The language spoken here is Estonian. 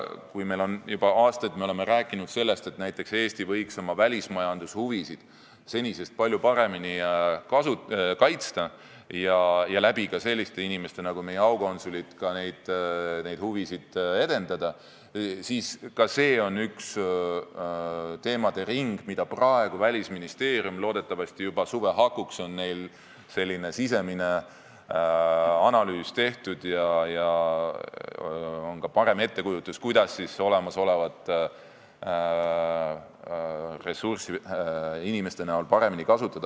Kui me juba aastaid oleme rääkinud sellest, et Eesti võiks oma välismajandushuvisid senisest palju paremini kaitsta ja ka selliste inimeste abil nagu aukonsulid neid huvisid edendada, siis see on üks teemaring, mille kohta Välisministeeriumil loodetavasti juba suve hakuks on sisemine analüüs tehtud, ja siis on ka parem ettekujutus, kuidas olemasolevat inimressurssi paremini kasutada.